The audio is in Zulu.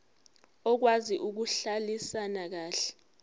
okwazi ukuhlalisana kahle